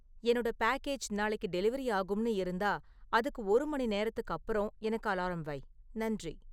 என்னோட பேக்கேஜ் நாளைக்கு டெலிவரி ஆகும்னு இருந்தா, அதுக்கு ஒரு மணிநேரத்துக்கு அப்புறம் எனக்கு அலாரம் வை, நன்றி